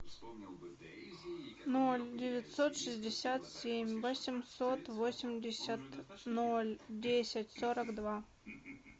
ноль девятьсот шестьдесят семь восемьсот восемьдесят ноль десять сорок два